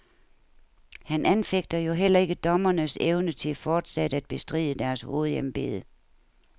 Han anfægter jo heller ikke dommernes evne til fortsat at bestride deres hovedembede.